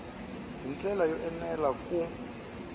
hi ndlela yo enela ku